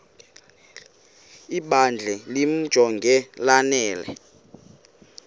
ibandla limjonge lanele